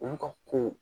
Olu ka ko